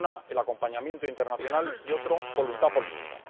Una, el acompañamiento internacional, y otra, voluntad política.